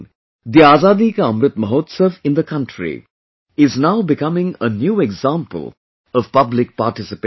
the Azadi ka Amrit Mahotsav in the country is now becoming a new example of public participation